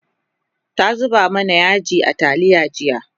ta zuba mana yaji a taliya jiya